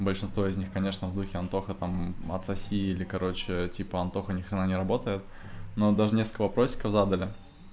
большинство из них конечно в духе антоха там отсоси или короче типа антоха ни хрена не работает но даже несколько вопросиков задали